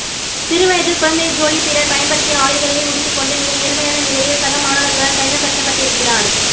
சிறு வயதில் குழந்தை ஜோலி பிறர் பயன்படுத்திய ஆடைகளையே உடுத்திக் கொண்டு மிக ஏழ்மையான நிலையில் சக மாணவர்களால் தனிமைப்படுத்தப்பட்டிருக்கிறார்